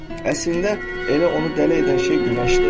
Əslində elə onu dələ edən şey günəşdir.